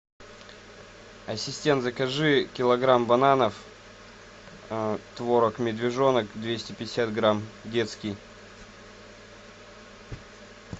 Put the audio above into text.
ассистент закажи килограмм бананов творог медвежонок двести пятьдесят грамм детский